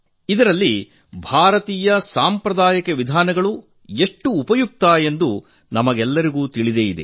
ಇದರಲ್ಲಿ ಭಾರತೀಯ ಸಾಂಪ್ರದಾಯಿಕ ಪದ್ಧತಿಗಳು ಎಷ್ಟು ಉಪಯುಕ್ತ ಎಂದು ನಮಗೆಲ್ಲರಿಗೂ ತಿಳಿದಿದೆ